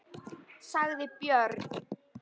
sagði Björn.